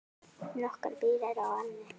Nokkrar brýr eru á ánni.